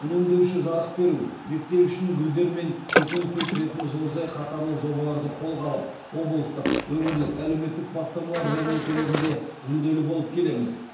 үнемдеуші жарық беру мектеп ішін гүлдер мен көкөніс өсіретін жылыжай қатарлы жобаларды қолға алып облыстық өңірлік әлеуметтік бастамалар жәрмеңкелерінде жүлделі болып келеміз